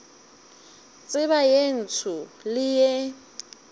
tseba ye ntsho le ye